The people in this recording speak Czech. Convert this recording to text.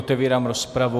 Otevírám rozpravu.